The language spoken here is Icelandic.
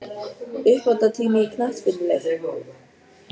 Uppbótartími í knattspyrnuleik?